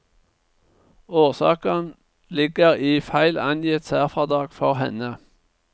Årsaken ligger i feil angitt særfradrag for henne.